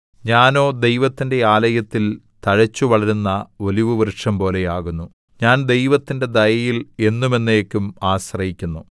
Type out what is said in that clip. ഞാനോ ദൈവത്തിന്റെ ആലയത്തിൽ തഴച്ചുവളരുന്ന ഒലിവുവൃക്ഷംപോലെ ആകുന്നു ഞാൻ ദൈവത്തിന്റെ ദയയിൽ എന്നും എന്നേക്കും ആശ്രയിക്കുന്നു